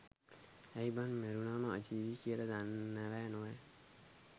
ඇයි බන් මැරුනම අජීවී කියල දන්නවැ නොවැ